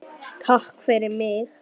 Takk fyrir mig.